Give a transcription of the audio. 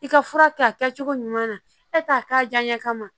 I ka fura kɛ a kɛcogo ɲuman na e t'a k'a diyaɲɛ kama